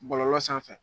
Bɔlɔlɔ sanfɛ